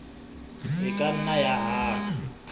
e ka nna ya hana